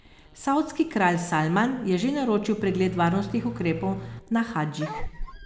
Savdski kralj Salman je že naročil pregled varnostnih ukrepov na hadžih.